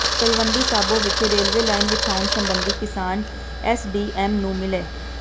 ਤਲਵੰਡੀ ਸਾਬੋ ਵਿਖੇ railway line ਵਿਛਾਉਣ ਸਬੰਧੀ ਕਿਸਾਨ ਐਸਡੀਐਮ ਨੂੰ ਮਿਲੇ